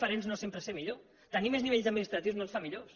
pre ser millor tenir més nivells administratius no ens fa millors